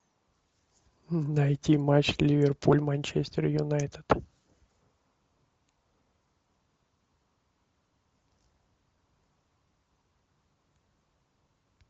найти матч ливерпуль манчестер юнайтед